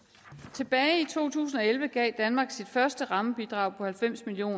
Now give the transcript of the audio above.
tilbage i to tusind og elleve gav danmark sit første rammebidrag på halvfems million